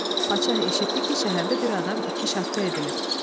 Padşah eşitdi ki, şəhərdə bir adam iki şaqqa edilib.